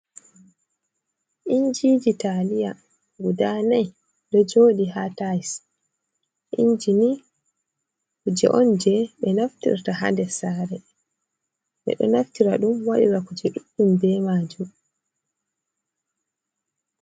Injiji taliya guda nai ɗo joɗi ha tayis inji ni kuje on je ɓe naftirta ha ndessare ɓe ɗo naftira ɗum waɗira kuje ɗuɗɗum be majum.